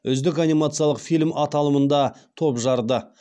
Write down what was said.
үздік анимациялық фильм аталымында топ жарды